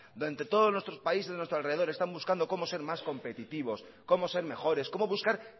donde todos los países de nuestro alrededor están buscando cómo ser más competitivos como ser mejores como buscar